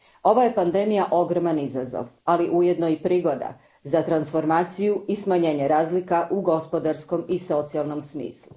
Ova je pandemija ogroman izazov, ali ujedno i prigoda za transformaciju i smanjenje razlika u gospodarskom i socijalnom smislu.